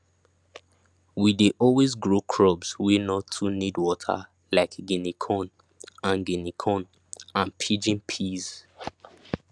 we dey always grow crops wey no too need water like guinea corn and guinea corn and pigeon peas